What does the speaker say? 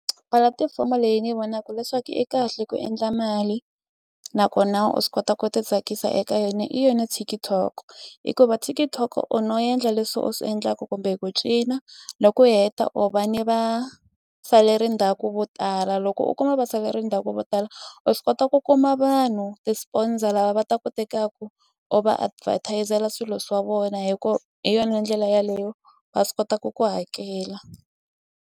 Pulatifomo leyi ni vonaku leswaku i kahle ku endla mali nakona u swi kota ku ti tsakisa eka yona i yona TikTok hikuva TikTok u no endla leswi u swi endlaku kumbe ku cina loko u heta u va ni va saleri ndzhaku vo tala loko u kuma va saleri ndzhaku vo tala u swi kota ku kuma vanhu ti-sponsor lava va tu tekaku u va advertise-la swilo swa vona hi ku hi yona ndlela yaleyo va swi kota ku ku hakela.